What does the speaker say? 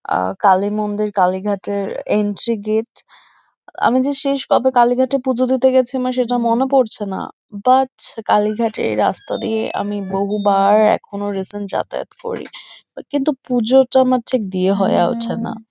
আ কালী মন্দির কালীঘাটের entry gate আমি যে শেষ কবে কালীঘাটে পুজো দিতে গেছি আমার সেটা মনে পড়ছে না বাট কালীঘাটের রাস্তা দিয়ে আমি বহু বার এখনো রিসেন্ট যাতায়াত করি কিন্তু পুজোটা আমার ঠিক দিয়ে হয়া উঠে না।